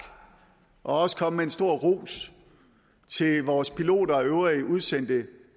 og også komme med en stor ros til vores piloter og øvrige udsendte